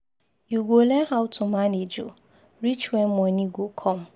You go learn how to manage o, reach wen moni go come.